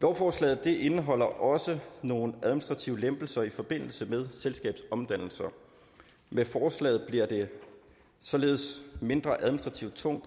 lovforslaget indeholder også nogle administrative lempelser i forbindelse med selskabsomdannelser med forslaget bliver det således mindre administrativt tungt